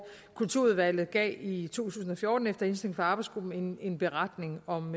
kulturudvalget gav i tusind og fjorten efter indstilling fra arbejdsgruppen en beretning om